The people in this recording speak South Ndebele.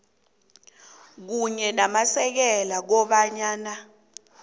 kunye namasekela kobana